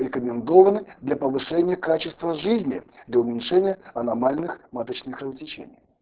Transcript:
рекомендованы для повышения качества жизни для уменьшения аномальных маточных кровотечений